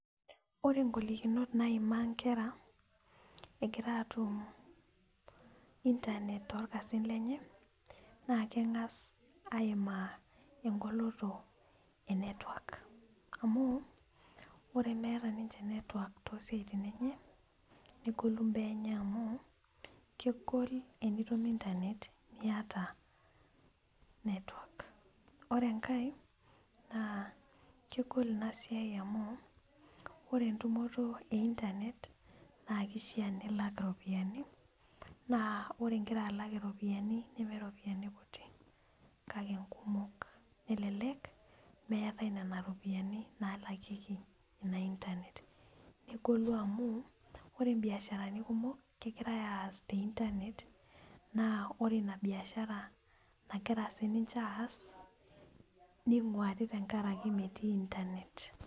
Ore ng'olikinot naimaa nkera egira aatum intanet toorkasin lenye naa keng'as aimaa eng'oloto e network amu ore meeta ninche network too siaitin enye negolu mbaa enye amu kegol enitum intanet miata network. Ore enkae naa kegol ina siai amu ore entumoto e intanet naa kishaa nilak iropiani, naa ore ing'ira alak iropiani neme ropiani kutik kake nkumok, elelek meetai nena ropiani naalakieki ina intanet. Negolu amu ore imbiasharani kumok kegirai aas te intanet naa ore ina biashara nagira sininje aas ning'uari tenkaraki metii intanet.